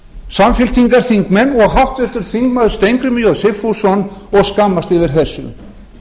samfylkingarþingmenn og háttvirtur þingmaður steingrímur j sigfússon og skammast yfir þessum